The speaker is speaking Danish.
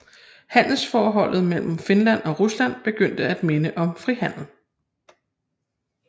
Handelsforholdet mellem Finland og Rusland begyndte at minde om frihandel